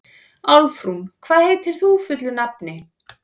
Álfrún, hvað heitir þú fullu nafni?